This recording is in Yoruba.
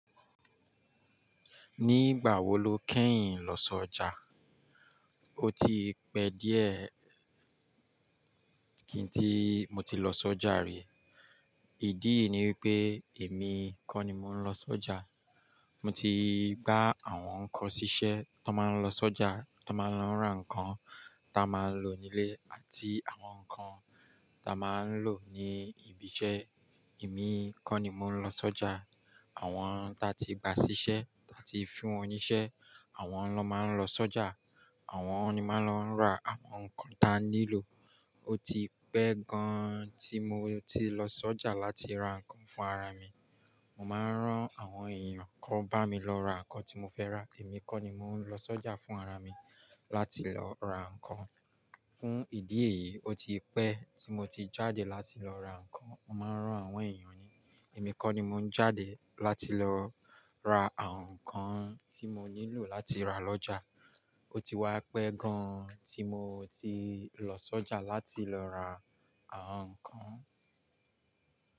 Ní ìgbà wo lo kẹ́yìn lọ sọ́jà? Ó ti pẹ́ díẹ̀ kí n tí mo ti lọ sọ́jà rí. Ìdí ni wípé èmi kọ́ ni mò ń lọ sọ́jà. Mo ti gbà àwọn kan ṣíṣẹ́ tó má ń lọ sọ́jà, tó má ń lọ rán ǹkan ta máa ń lò nílé àti àwọn ǹkan ta máa ń lò ní ibiṣẹ́. Èmi kọ́ ni mò ń lọ sọ́jà. Àwọn ta ti gba ṣíṣẹ́, ta ti fún ní iṣẹ́ àwọn ló máa ń lọ sọ́jà. Àwọn ni máa ń lọ ra àwọn ǹkan ta nílò. Ó ti pẹ́ gan-an tí mo ti lọ sọ́jà láti ra ǹkan fún ara mi. Mo máa rán àwọn èèyàn kó bámi lọ ra ǹkan tí mo fẹ́ rà. Èmi kọ́ ni mò ń lọ sọ́jà fún ara mi láti lọ ra ǹkan. Fún ìdí èyí, ó ti pẹ́ tí mo ti jáde láti lọ ra ǹkan. Mo máa rán àwọn èèyàn ni, èmi kọ́ ni mò ń jáde láti lọ ra àwọn ǹkan tí mo nílò láti ra lọ́jà. Ó ti wá pẹ́ gan-an tí mo ti lọ sọ́jà láti lọ ra àwọn ǹkan.